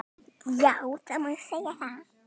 Já það má segja það.